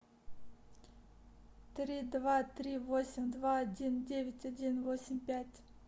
три два три восемь два один девять один восемь пять